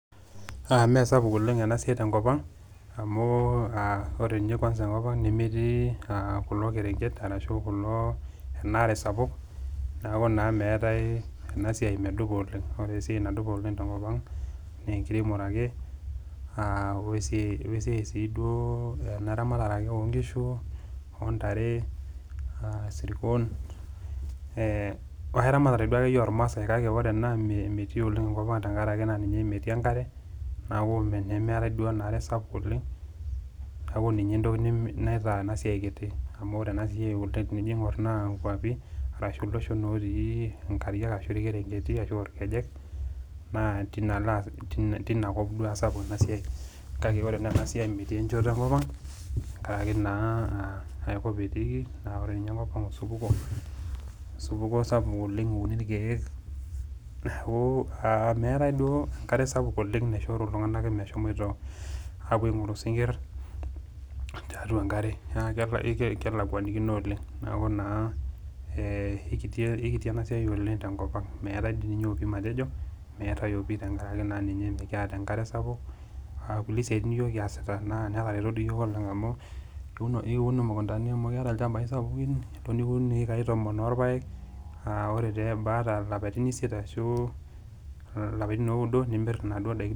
Mee sapuk oleng' ena siai te enkop ang', amu ore ninye kwasa enkop ang' nemetii kulo kerenket arashu enaare sapuk, neaku naa meatai ena siai medupa oleng'. Ore esiai nadupa oleng' te enkop ang' naa enkiremore ake, we esiai ake ena ramatare oo nkishu, o ntare, sirkon, we eramatare ake iyie olmaasai, ore ena metii oleng' enkop tenkaraki metii enkare, neaku meatai duo enaare sapuk oleng' . Neaku ninye naitaa ena siai kiti, amu ore ena siai tening'or naa inkwapi ashu iloshon otii inkariak, ashu ilkerenketi, ashu irkejek, naa teinaalo duo sapuk ena siai. Kake ore ena siai metii enchoto enkop ang' enkaraki aikop etiiki naa enkopa ang' eisupuko sapuk oleng' euni ilkeek. Neaku meatai sii duo enkare sapuk nashuku iltung'anak ake meshomoito apuo aing'oru isinkir tiatua enkare, neaku kelekwanikino oleng'. Neaku naa eikiti ena siai oleng' tenkop ang' , meatai dei ninye opi matejo, meatai pii tenkaraki mekiata enkare sapuk, naa nkulie siatin iyiok kiasita netareto dii siiyiok amu, iun imukuntani amu kiata ilchambai sapukin, iun ihekai tomon olpaek, ore peebaya ilapaitin isiet ashu ilapaitin ooudo nimir inaduo daikin.